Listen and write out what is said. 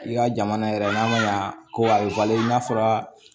I ka jamana yɛrɛ n'a ma ɲa ko a bɛ i n'a fɔra